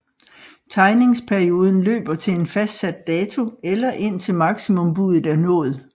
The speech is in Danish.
Tegningsperioden løber til en fastsat dato eller indtil maksimumbuddet er nået